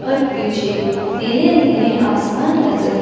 और पीछे नीले नीले आसमान नजर--